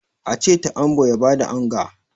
a ce ta'ambo ya ba da onga!